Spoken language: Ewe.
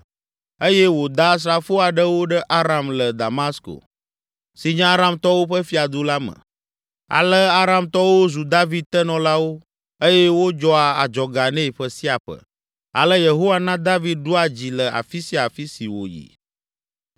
eye wòda asrafo aɖewo ɖe Aram le Damasko, si nye Aramtɔwo ƒe fiadu la me. Ale Aramtɔwo zu David tenɔlawo eye wodzɔa adzɔga nɛ ƒe sia ƒe. Ale Yehowa na David ɖua dzi le afi sia afi si wòyi.